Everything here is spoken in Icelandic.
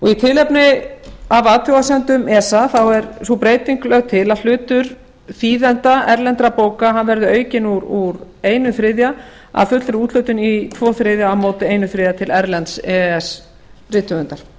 í tilefni af athugasemdum esa er sú breyting lögð til að hlutur þýðenda erlendra bóka verði aukinn úr einum þriðja af fullri úthlutun í tvo þriðju á móti einum þriðja til erlends e e s rithöfundar